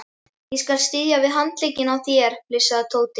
Ég skal styðja við handlegginn á þér flissaði Tóti.